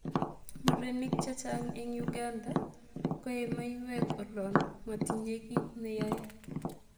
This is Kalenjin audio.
Murenik chechang eng Uganda koyee maiyek olon motinye kiit neyoe